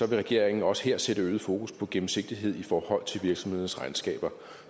regeringen også her sætte øget fokus på gennemsigtighed i forhold til virksomhedernes regnskaber